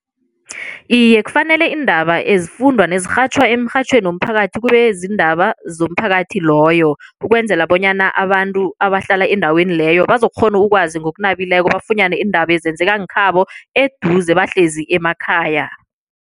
Iye, kufanele iindaba ezifundwa nezirhatjhwa emrhatjhweni womphakathi kube ziindaba zomphakathi loyo ukwenzela bonyana abantu abahlala endaweni leyo bazokukghona ukwazi ngokunabileko bafunyane iindaba ezenzekako nkhabo eduze bahlezi emakhaya.